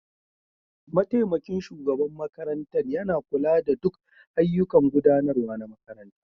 Mataimakin shugaban makarantar yana kula da duk ayyukan gudanarwa na makarantar.